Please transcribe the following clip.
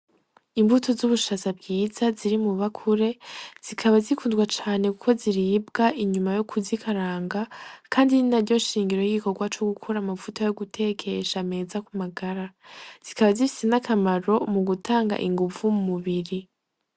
Imbuto z'ubushaza bwiza ziri mw'ibakure, zikaba zikundwa cane kuko ziribwa inyuma yo kuzikaranga, kandi ni naryo shingiro y'igikorwa co gukora amavuta yo gutekesha ku magara, zikaba zifise n'akamaro mu gutanga inguvu mu mubiri.